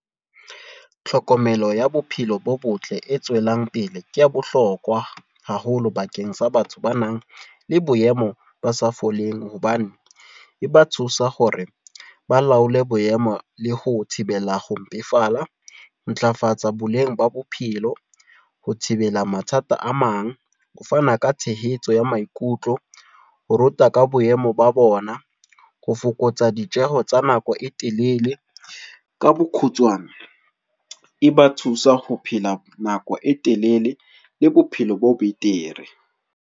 Tlhokomelo ya bophelo bo botle e tswelang pele. Ke ya bohlokwa haholo bakeng sa batho ba nang le boemo ba sa foleng. Hobane e ba thusa hore ba laole boemo le ho thibela ho mpefala. Ntlafatsa boleng ba bophelo. Ho thibela mathata a mang. Ho fana ka tshehetso ya maikutlo. Ho ruta ka boemo ba bona. Ho fokotsa ditjeho tsa nako e telele. Ka bokgutshwane, e ba thusa ho phela nako e telele. Le bophelo bo betere.